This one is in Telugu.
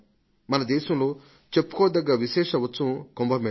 మన దేశంలో చెప్పుకోదగ్గ విశేష ఉత్సవం కుంభ మేళ